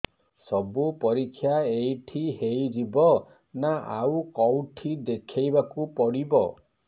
ସବୁ ପରୀକ୍ଷା ଏଇଠି ହେଇଯିବ ନା ଆଉ କଉଠି ଦେଖେଇ ବାକୁ ପଡ଼ିବ